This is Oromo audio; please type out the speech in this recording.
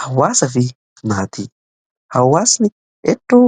Hawaasaa fi maatii: Hawaasni iddoo